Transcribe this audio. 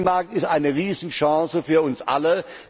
Der Binnenmarkt ist eine Riesenchance für uns alle.